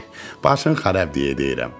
Başının xarab deyə deyirəm.